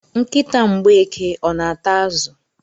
Nkịta Mgbeke ọ na-ata azụ?